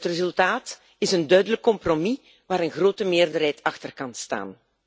Het resultaat is een duidelijk compromis waar een grote meerderheid achter kan staan.